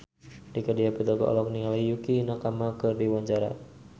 Rieke Diah Pitaloka olohok ningali Yukie Nakama keur diwawancara